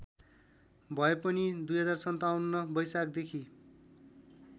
भए पनि २०५७ वैशाखदेखि